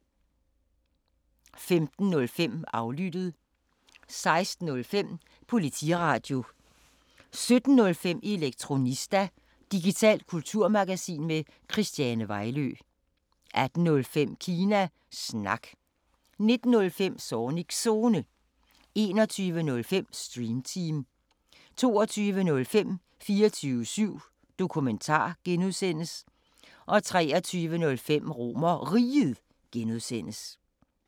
15:05: Aflyttet 16:05: Politiradio 17:05: Elektronista – digitalt kulturmagasin med Christiane Vejlø 18:05: Kina Snak 19:05: Zornigs Zone 21:05: Stream Team 22:05: 24syv Dokumentar (G) 23:05: RomerRiget (G)